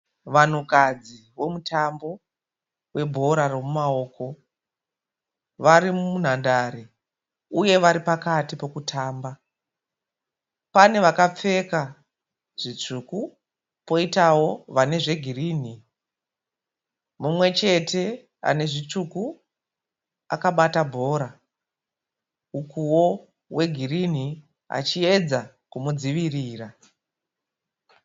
Vanhukadzi vomutambo webhora romumaoko varimunhandare uye varipakati pokutamba. Pane vakapfeka zvitsvuku, poitawo vane zvegirinhi. Mumwechete anezvitsvuku akabata bhora ukuwo wegirinhi achiedza kumudzivirira.